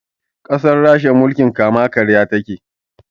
Ƙasar rasha mulkin kama karya takeyi